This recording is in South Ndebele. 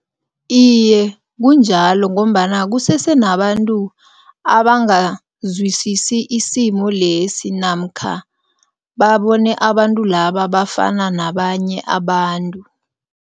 Iye, kunjalo ngombana kusese nabantu abangazwisisi isimo lesi namkha babone abantu laba bafana nabanye abantu.